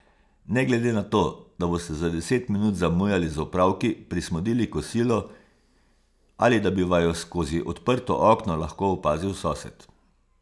Ne glede na to, da boste za deset minut zamujali z opravki, prismodili kosilo ali da bi vaju skozi odprto okno lahko opazil sosed.